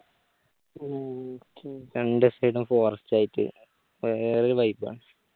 ഉം രണ്ട് side ഉം forest ആയിട്ട് വേറൊരു vibe ആണ്